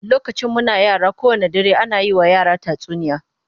Lokacin muna yara, kowanne dare ana yi wa yara tatsuniya